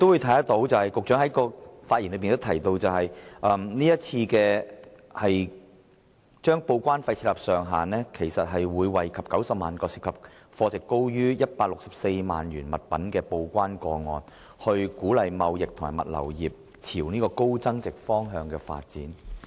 據局長於其發言中表示，是次就報關費設定上限，將惠及約90萬個涉及貨值高於164萬元物品的報關個案，政府希望藉此鼓勵貿易和物流業朝高增值方向發展。